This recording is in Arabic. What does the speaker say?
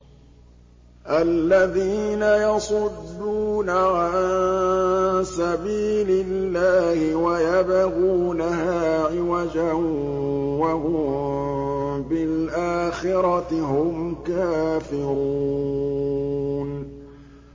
الَّذِينَ يَصُدُّونَ عَن سَبِيلِ اللَّهِ وَيَبْغُونَهَا عِوَجًا وَهُم بِالْآخِرَةِ هُمْ كَافِرُونَ